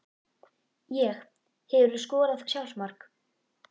Ég Hefurðu skorað sjálfsmark?